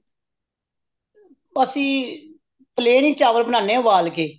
ਅੱਸੀ plain ਹੀ ਚਾਵਲ ਬਣਾਨੇ ਹਾ ਉਬਾਲਕੇ